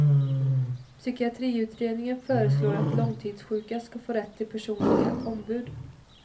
Psykiatriutredningen föreslår att långtidssjuka skall få rätt till personliga ombud.